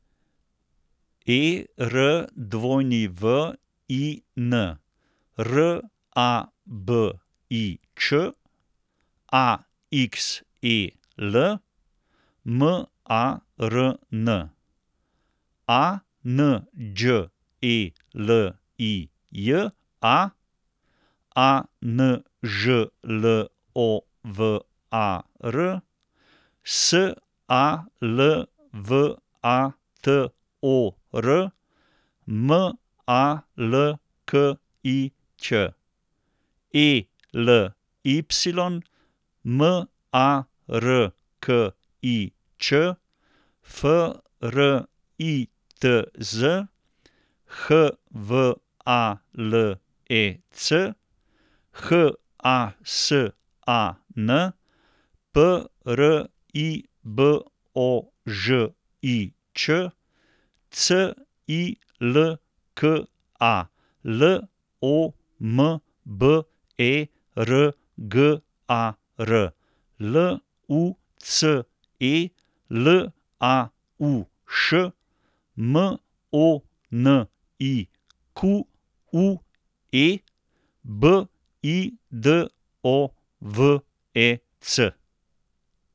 E R W I N, R A B I Č; A X E L, M A R N; A N Đ E L I J A, A N Ž L O V A R; S A L V A T O R, M A L K I Ć; E L Y, M A R K I Č; F R I T Z, H V A L E C; H A S A N, P R I B O Ž I Č; C I L K A, L O M B E R G A R; L U C E, L A U Š; M O N I Q U E, B I D O V E C.